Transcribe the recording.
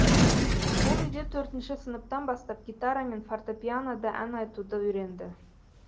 ол үйде төртінші сыныптан бастап гитара мен фортепианода ән айтуды үйренді